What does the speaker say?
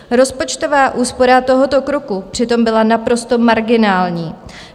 Rozpočtová úspora tohoto kroku přitom byla naprosto marginální.